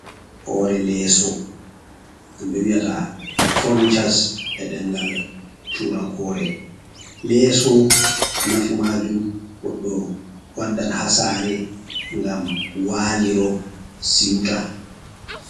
Hoore leeso ɗum ɓe wiyata Fonichos e ɗengal turankore, leeso nafu majum goɗɗo waddan ha saare ngam waliro seuta.